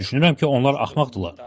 Düşünürəm ki, onlar axmaqdırlar.